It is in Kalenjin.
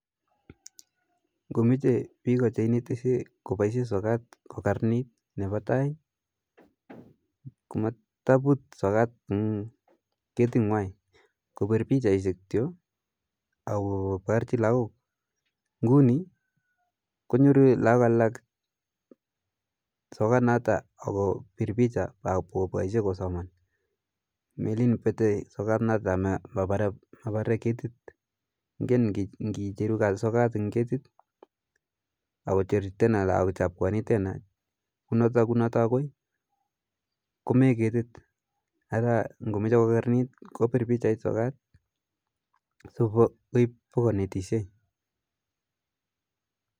Ngomoche bik ko cheinetishe koboisien sokat kokaranit nebo tai komotobut sokat en ketingwai kobir pichait kityok ak koborji lagok nguni konyoru lagok alak sokanato akobir picha ak koboishen kosoman melen bete sokanaton anan mobore ketit ingen inkicher sokat en ketit ? konoto agoi komee ketit araa ngomoche kokararanit kobir pichait sokat sikoib bo konetishen.